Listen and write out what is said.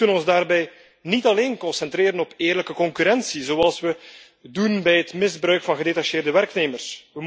We moeten ons daarbij niet alleen concentreren op eerlijke concurrentie, zoals we doen bij het misbruik van gedetacheerde werknemers.